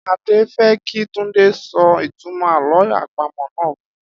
Adé fé̩ kí Túndé ó so̩ ìtumò̩ àló̩ àpamò̩ náà fun